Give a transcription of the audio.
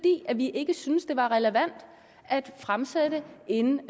vi ikke syntes det var relevant at fremsætte en